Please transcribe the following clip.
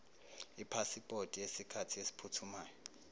ipasipoti yesikhathi esiphuthumayo